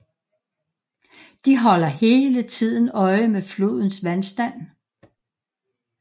De holder hele tiden øje med flodens vandstand